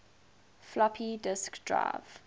floppy disk drive